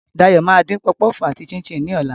Dayo máa dín puff puff àti chin-chin ní ọ̀la.